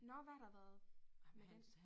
Nåh hvad har der været med den